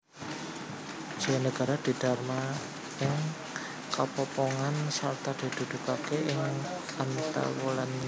Jayanegara didharma ing Kapopongan sarta dikukuhké ing Antawulan Trowulan